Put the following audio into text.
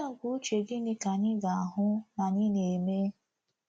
Udi àgwà uche gịnị ka anyị ga-ahụ na-anyị na-eme?